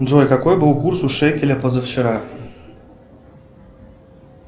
джой какой был курс у шекеля позавчера